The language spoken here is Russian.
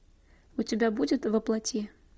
у тебя будет воплоти